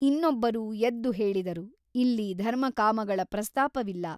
ಇನ್ನೊಬ್ಬರು ಎದ್ದು ಹೇಳಿದರು ಇಲ್ಲಿ ಧರ್ಮಕಾಮಗಳ ಪ್ರಸ್ತಾಪವಿಲ್ಲ.